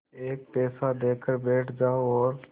एक पैसा देकर बैठ जाओ और